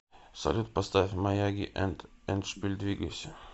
салют поставь маяги энд эндшпиль двигайся